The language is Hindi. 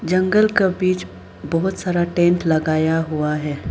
जंगल का बीच बहोत सारा टेंट लगाया हुआ है।